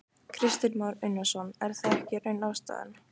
Kristinn Már Unnarsson: Er það ekki í raun ástæðan?